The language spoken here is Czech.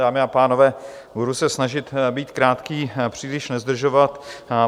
Dámy a pánové, budu se snažit být krátký, příliš nezdržovat.